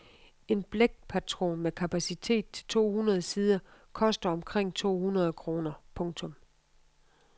En blækpatron med kapacitet til to hundrede sider koster omkring to hundrede kroner. punktum